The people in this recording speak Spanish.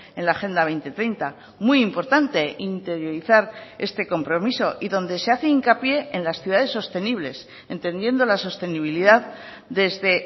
en la agenda dos mil treinta muy importante interiorizar este compromiso y donde se hace hincapié en las ciudades sostenibles entendiendo la sostenibilidad desde